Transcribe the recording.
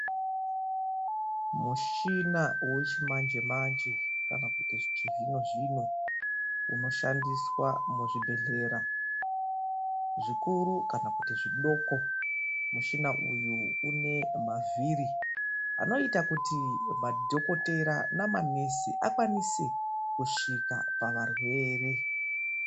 Mushina wechimanje-manje kana kuti wechizvino-zvino unoshandiswa muzvibhedhlera zvikuru kana zvidoko. Mushina uyu une mavhiri anoita kuti madhokoteya namanesi akwanise kusvika pavarwere.